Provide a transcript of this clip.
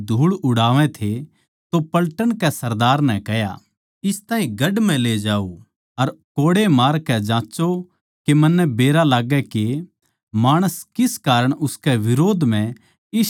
तो पलटन के सरदार नै कह्या इस ताहीं गढ़ म्ह ले जाओ अर कोड़े मारकै जाँच्चो के मन्नै बेरा लाग्गै के माणस किस कारण उसकै बिरोध म्ह इस ढाळ चिल्लावै सै